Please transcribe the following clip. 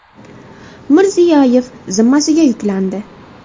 Mirziyoyev zimmasiga yuklandi.